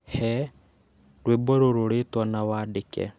He rwĩmbo rũrũ rĩĩtwa na wandĩke.